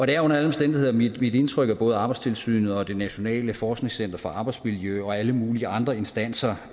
det er under alle omstændigheder mit indtryk at både arbejdstilsynet og det nationale forskningscenter for arbejdsmiljø og alle mulige andre instanser